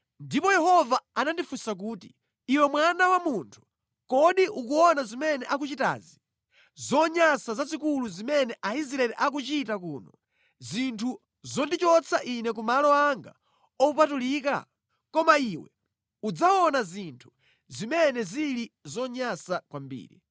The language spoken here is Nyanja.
Ndipo Yehova anandifunsa kuti, “Iwe mwana wa munthu, kodi ukuona zimene akuchitazi, zonyansa zazikulu zimene Aisraeli akuchita kuno, zinthu zondichotsa Ine kumalo anga opatulika? Koma iwe udzaona zinthu zimene zili zonyansa kwambiri.”